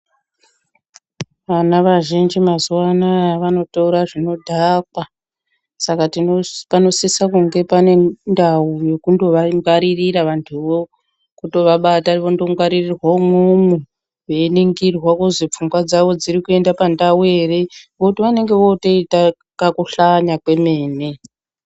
Vana vazhinji mazuwa anaya vanotora zvinodhaka Saka panosisa kunge pane ndau yekundovangwaririra vantuvo. Kutovabata vondongwaririrwa umwomwo veiningirwa kuzi pfungwa dzavo dzirikuenda pandau ere ngekuti vanenge votoita kukuhlanya kwemene.